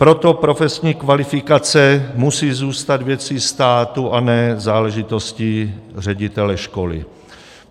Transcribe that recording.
Proto profesní kvalifikace musí zůstat věcí státu, a ne záležitostí ředitele školy.